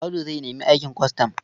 Audu zai nemi aikin kwastam.